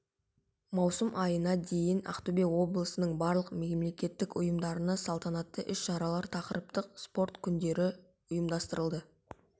маусым айына дейін ақтөбе облысының барлық мемлекеттік ұйымдарында салтанатты іс-шаралар тақырыптық спорт күндері ұйымдастырылды